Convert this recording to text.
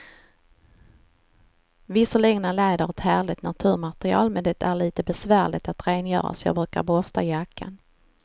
Visserligen är läder ett härligt naturmaterial, men det är lite besvärligt att rengöra, så jag brukar borsta jackan.